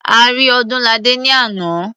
A rí Ọdúnladé ní àná.